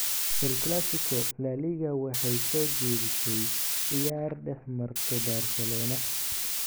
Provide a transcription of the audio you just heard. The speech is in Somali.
El Clasico: La Liga waxay soo jeedisay ciyaar dhex marto Barcelona